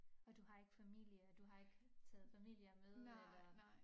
Og du har ikke familie du har ikke taget familier med eller